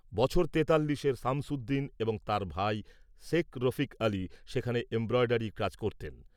বছর তেতাল্লিশের সামসুদ্দিন এবং তাঁর ভাই শেখ রফিক আলি সেখানে এমব্রয়ডারি কাজ করতেন।